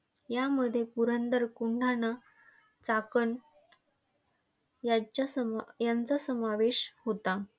यामध्ये पुरंदर, कोंढाणा, चाकण यांचा समायांचा समावेश होता.